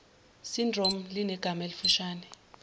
syndrome linegama elifushane